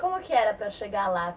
Como que era para chegar lá?